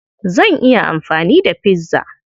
Zan iya amfani da pizza.